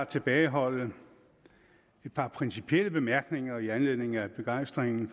tilbageholde et par principielle bemærkninger i anledningen af begejstringen